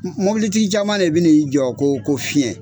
Mobili tigi caman de bɛ n'i jɔ ko ko fiyɛn.